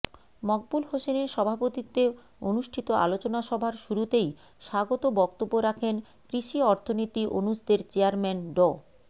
মকবুল হোসেনের সভাপতিত্বে অনুষ্ঠিত আলোচনা সভার শুরুতেই স্বাগত বক্তব্য রাখেন কৃষি অর্থনীতি অনুষদের চেয়ারম্যান ড